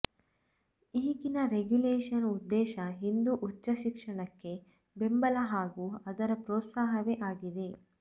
ಈಗಿನ ರೆಗ್ಯುಲೇಷನ್ನ ಉದ್ದೇಶ ಹಿಂದೂ ಉಚ್ಚ ಶಿಕ್ಷಣಕ್ಕೆ ಬೆಂಬಲ ಹಾಗೂ ಅದರ ಪ್ರೋತ್ಸಾಹವೇ ಆಗಿದೆ